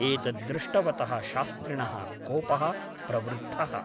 एतत् दृष्टवतः शास्त्रिणः कोपः प्रवृद्धः ।